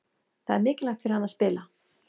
Það er mikilvægt fyrir hann að spila.